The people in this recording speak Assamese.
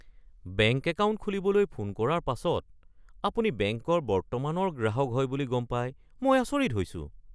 বেংক একাউণ্ট খুলিবলৈ ফোন কৰাৰ পাছত আপুনি বেংকৰ বৰ্তমানৰ গ্ৰাহক হয় বুলি গম পাই মই আচৰিত হৈছোঁ! (বেংকৰ ছেলছপাৰছন)